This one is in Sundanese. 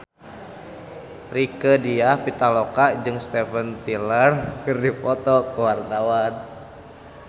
Rieke Diah Pitaloka jeung Steven Tyler keur dipoto ku wartawan